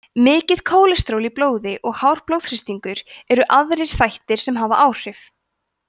mikið kólesteról í blóði og hár blóðþrýstingur eru aðrir þættir sem hafa áhrif